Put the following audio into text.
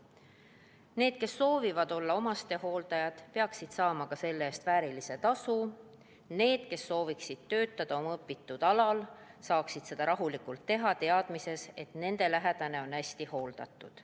Need, kes soovivad olla omastehooldajad, peaksid saama selle eest väärilist tasu, need, kes sooviksid töötada oma õpitud alal, peaksid seda rahulikult teha saama, teadmises, et nende lähedane on hästi hooldatud.